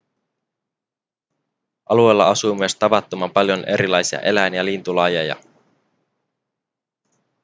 alueella asuu myös tavattoman paljon erilaisia eläin- ja lintulajeja